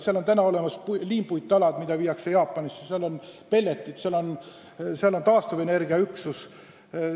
Seal toodetakse liimpuittalasid, mida veetakse välja Jaapanisse, seal toodetakse pelleteid, seal on taastuvenergiaüksus.